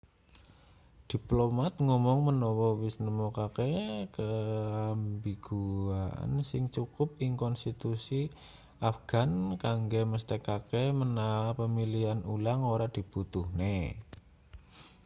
diplomat ngomong menawa wis nemokake keambiguan sing cukup ing konstitusi afghan kanggo mesthekake menawa pemilihan ulang ora dibutuhne